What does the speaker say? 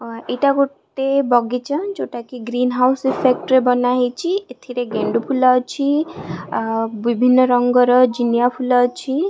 ଅ -- ଏଇଟା ଗୋଟେ ବଗିଚା ଯୋଉଟା କି ଗ୍ରୀନ ହାଉସ ଇଫେକ୍ଟ ରେ ବନା ହେଇଛି ଏଥିରେ ଗେଣ୍ଡୁଫୁଲ ଅଛି ଆ ବିଭିନ୍ନ ରଙ୍ଗର ଯିନିଆ ଫୁଲ ଅଛି।